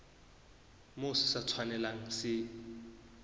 moo se sa tshwanelang se